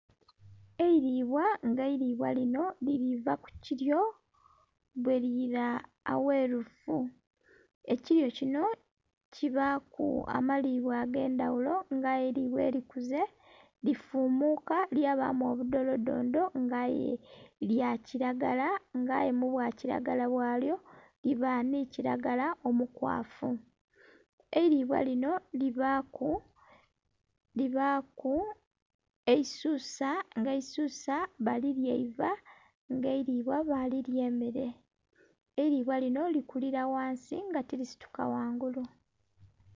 Eilibwa nga eilibwa lino lili va ku kiryo bweliira awerufu. Ekiryo kino kibaaku amalibwa ag'endhagulo nga aye eilibwa elikuze lifumuuka lyabamu obudholodhondho nga aye lya kilagala, nga aye mu bwa kilagala bwalyo liba ni kilagala omukwafu. Eilibwa lino libaaku eisusa nga eisusa balilya eiva nga eilibwa balilya emmere. Eilibwa lino likulira ghansi nga tilisituka ghangulu.